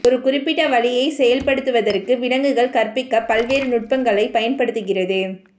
ஒரு குறிப்பிட்ட வழியைச் செயல்படுத்துவதற்கு விலங்குகள் கற்பிக்க பல்வேறு நுட்பங்களைப் பயன்படுத்துகிறது